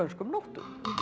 nóttum